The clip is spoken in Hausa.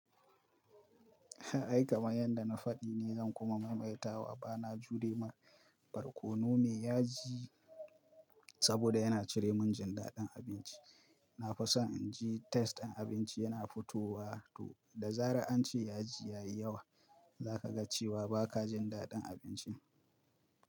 Ai kamar yadda na faɗi ne zan kuma maimaita wa bana jure ma barkono mai yaji saboda yana cire min jin daɗin abinci. Na fa san inji test ɗin abinci yana fitowa, to da zaran ance yaji yayi yawa, zaka ga cewa ba ka jin daɗin abincin.